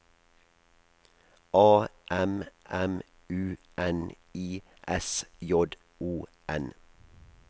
A M M U N I S J O N